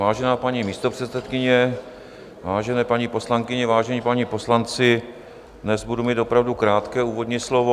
Vážená paní místopředsedkyně, vážené paní poslankyně, vážení páni poslanci, dnes budu mít opravdu krátké úvodní slovo.